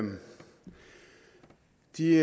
de